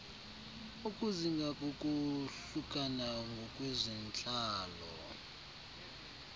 ukuzinga kokohlukana ngokwezentlalo